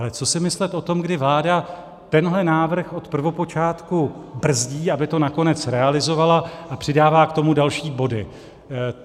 Ale co si myslet o tom, kdy vláda tenhle návrh od prvopočátku brzdí, aby to nakonec realizovala, a přidává k tomu další body.